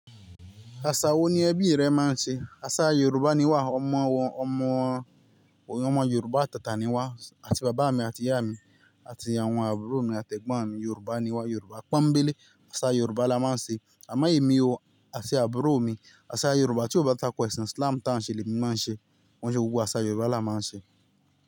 Àṣà wo ni ẹbí rẹ máa ń ṣe? Àṣà Yorùbá ni wà, ọmọ wọn, ọmọ òun ọmọ Yorùbá tata ni wá, àti bàbá mi àti ìyá mi, àti àwọn àbúrò mi àti ẹ̀gbọ́n mi Yorùbá ni wá, Yorùbá pọ́nńbélé. Àṣà Yorùbá la máa ń ṣe. Àmọ èmi o, àti àbúrò mi, àṣà Yorùbá tí ò bá takọ èsíb Islam ta ń ṣe ni èmi ma ṣe. Kò ń ṣe gbogbo àṣà Yorùbá la máa ń ṣe.